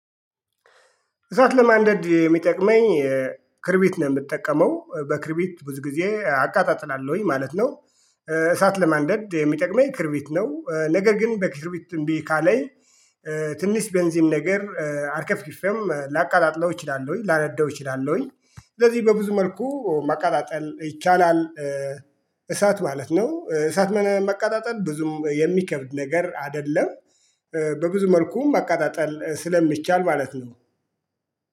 እሳት ለማንደድ የሚጠቅመኝ ክርቢት ነው የምጠቀመው በክርቢት ብዙ ጊዜ አቃጣጥላለሁኝ ማለት ነው። እሳት ለማንደድ የሚጠቅመኝ ክርቢት ነው ነገር ግን በክርቢት እምቢ ካለኝ። ትንሽ ቤንዚን ነገር አርከፍኪፌም ላቃጣጥለው እችላለሁኝ ላነደው እችላለሁኝ። ስለዚህ በብዙ መልኩ ማቃጣጠል ይቻላል። እሳት ማለት ነው እሳት ማቃጣጠል ብዙም የሚከብድ ነገር አይደለም። በብዙ መልኩም ማቃጣጠል ስለሚቻል ማለት ነው።